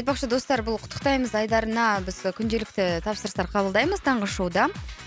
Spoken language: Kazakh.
айтпақшы достар бұл құттықтаймыз айдарына біз күнделікті тапсырыстар қабылдаймыз таңғы шоуда